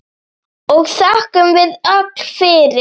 og þökkum við öll fyrir.